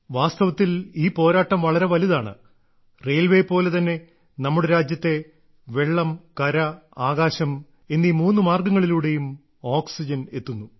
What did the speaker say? വാസ്തവത്തിൽ ഈ പോരാട്ടം വളരെ വലുതാണ് റെയിൽവേയെപ്പോലെ തന്നെ നമ്മുടെ രാജ്യത്തെ വെള്ളം കര ആകാശം എന്നീ മൂന്ന് മാർഗങ്ങളിലൂടെയും ഓക്സിജൻ എത്തുന്നു